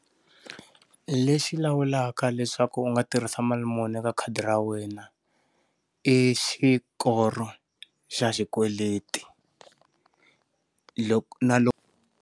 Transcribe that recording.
Lexi lawulaka leswaku u nga tirhisa mali muni eka khadi ra wena i xikolo xa xikweleti loko na loko